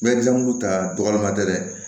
N bɛ gilankulu ta dɔgɔma dɛ